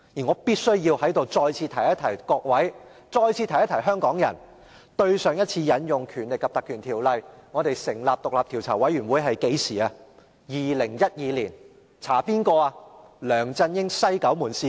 我必須再次提醒各位議員和香港人，上次引用《條例》成立專責委員會是2012年，以調查梁振英的"西九門事件"。